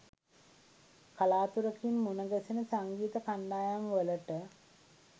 කලාතුරකින් මුණගැසෙන සංගීත කණ්ඩායම්වලට